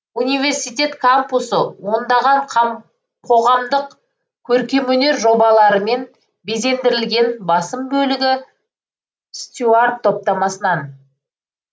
университет кампусы ондаған қоғамдық көркемөнер жобаларымен безендірілген басым бөлігі стюарт топтамасынан